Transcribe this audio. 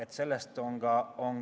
" Ju see nii on.